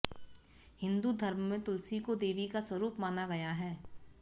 हिन्दू धर्म में तुलसी को देवी का स्वरूप माना गया है